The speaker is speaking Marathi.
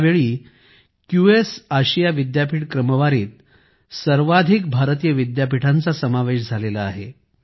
यावेळी क्यूएस आशिया विद्यापीठ क्रमवारीत सर्वाधिक भारतीय विद्यापीठांचा समावेश करण्यात आला आहे